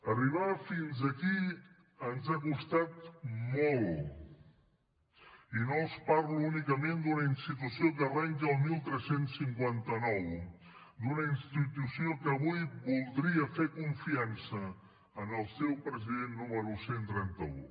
arribar fins aquí ens ha costat molt i no els parlo únicament d’una institució que arrenca el tretze cinquanta nou d’una institució que avui voldria fer confiança al seu president número cent i trenta un